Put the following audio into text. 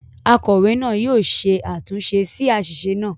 “ Akọ̀wé náà ” yóò ṣe àtúnṣe sí àṣìṣe náà.